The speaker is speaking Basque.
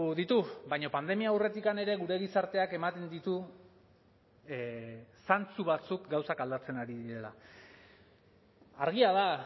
ditu baina pandemia aurretik ere gure gizarteak ematen ditu zantzu batzuk gauzak aldatzen ari direla argia da